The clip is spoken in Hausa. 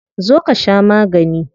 Zo ka sha magani.